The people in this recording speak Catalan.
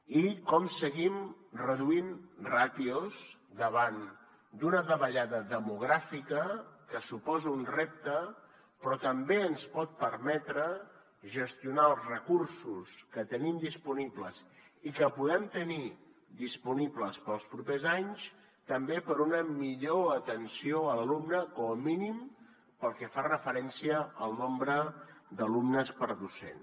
i com seguim reduint ràtios davant d’una davallada demogràfica que suposa un repte però també ens pot permetre gestionar els recursos que tenim disponibles i que podem tenir disponibles per als propers anys també per a una millor atenció a l’alumne com a mínim pel que fa referència al nombre d’alumnes per docent